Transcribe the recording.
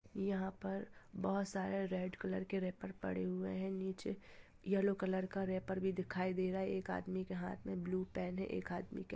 यहाँ पर बहुत सारे रेड कलर के रेपर पड़े हुए हैं नीचे येलो कलर का रेपर भी दिखाई दे रहा है एक आदमी के हाथ में ब्लू पेन हैं एक आदमी के ह--